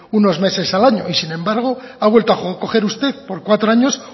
unos meses al año y sin embargo ha vuelto a coger usted por cuatro años